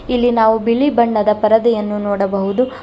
ಇಲ್ಲಿ ನಾವು ಬಿಳಿ ಬಣ್ಣದ ಪರದೆಯನ್ನು ನೋಡಬಹುದು.